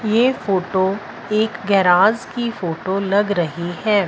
ये फोटो एक गेराज की फोटो लग रही है।